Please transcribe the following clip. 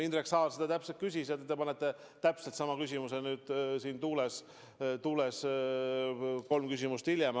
Indrek Saar seda täpselt küsis ja te sõidate sama küsimuse tuules nüüd kolm küsimust hiljem.